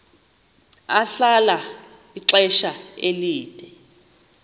ahlala ixesha elide